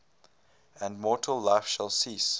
and mortal life shall cease